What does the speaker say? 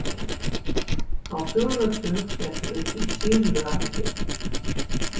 Á fjórða tug féllu í Sýrlandi